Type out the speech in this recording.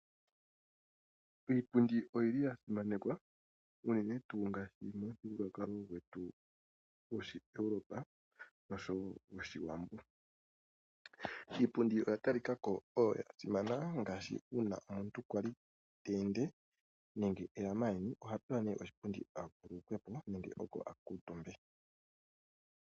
Iipundi oyili yasimanekwa uune tu ngaashi mbyoka yoshinandoolopa nosho wo yOshiwambo. Iipundi oya talika ko oyo yasimana ngaashi uuna omuntu kwali ta ende nenge eya maayeni oha pewa oshipundi a vululukwe po nenge oko a kuutumbe.